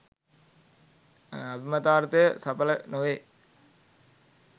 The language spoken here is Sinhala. අභිමතාර්ථය සඵල නොවේ.